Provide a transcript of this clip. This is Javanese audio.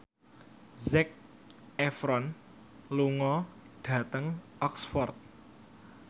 Zac Efron lunga dhateng Oxford